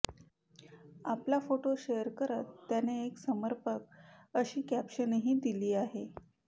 आपला photo share करत त्याने एक समर्पक अशी कॅप्शनही दिली आहे